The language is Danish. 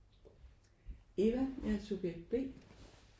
Eva. Jeg er subjekt B